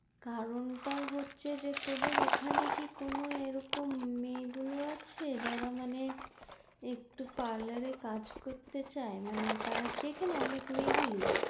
কারন টা হচ্ছে যে তোদের ওখানে কি কোনো এরকম মেয়েগুলো আছে যারা মানে একটু parlour এ কাজ করতে চায় মানে তারা সেখানে অনেকগুলি?